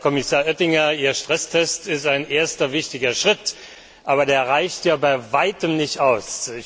Herr Kommissar Oettinger, Ihr Stresstest ist ein erster wichtiger Schritt, aber er reicht bei weitem nicht aus.